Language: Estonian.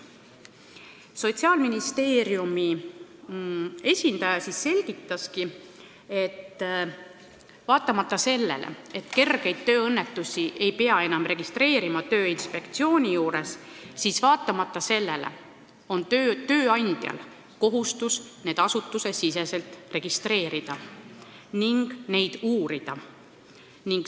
Sotsiaalministeeriumi esindaja selgitaski, et vaatamata sellele, et kergeid tööõnnetusi ei pea enam registreerima Tööinspektsiooni juures, on tööandjal kohustus need asutuse sees registreerida ja neid uurida.